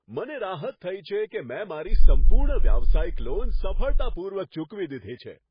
મને રાહત થઈ છે કે મેં મારી સંપૂર્ણ વ્યવસાયિક લોન સફળતાપૂર્વક ચૂકવી દીધી છે.